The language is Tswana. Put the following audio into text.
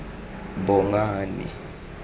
bongane